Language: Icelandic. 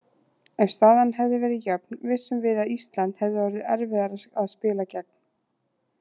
Ef staðan hefði verið jöfn vissum við að Ísland hefði orðið erfiðara að spila gegn.